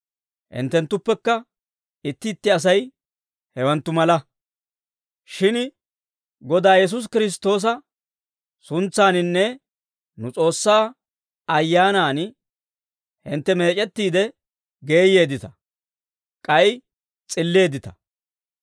Hinttenttuppekka itti itti Asay hewanttu mala. Shin Godaa Yesuusi Kiristtoosa suntsaaninne nu S'oossaa Ayyaanaan hintte meec'ettiide geeyyeeddita; k'ay s'illeeddita.